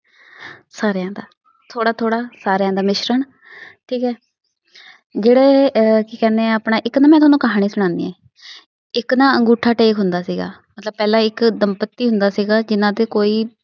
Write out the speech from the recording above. ਸਾਰਿਆ ਦਾ, ਥੋੜਾ ਥੋੜਾ ਸਾਰਿਆ ਦਾ ਮਿਸ਼ਰਨ। ਠੀਕ ਹੈ? ਜਿਹੜੇ ਅਹ ਕੀ ਕਹਿੰਦੇ ਆ ਆਪਣਾ ਇੱਕ ਨਾ ਮੈ ਤੁਹਾਨੂੰ ਕਹਾਨੀ ਸੁਣਾਦੀ ਆਂ ਇਕ ਨਾ ਅੰਗੁਠਾ ਟੇਕ ਹੁੰਦਾ ਸੀਗਾ ਮਤਲਬ ਪਹਿਲਾ ਇਕ ਦਮਪਤੀ ਹੁੰਦਾ ਸੀਗਾ ਜਿਨ੍ਹਾ ਦੇ ਕੋਈ